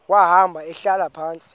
wahamba ehlala phantsi